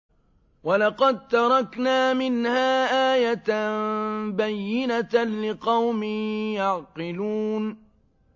وَلَقَد تَّرَكْنَا مِنْهَا آيَةً بَيِّنَةً لِّقَوْمٍ يَعْقِلُونَ